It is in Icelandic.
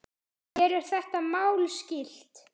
Mér er þetta mál skylt.